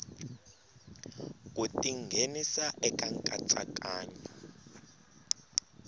ku ti nghenisa eka nkatsakanyo